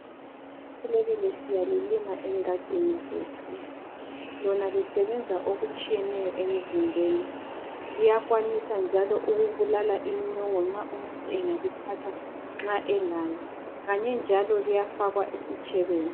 Ibilebile siyalilina engadini zethu. Lona lisebenza okutshiyeneyo emzimbeni. Liyakwanisa njalo ukubulala inyongo nxa umuntu engalithatha nxa elayo. Kanye njalo liyafakwa esitshebeni.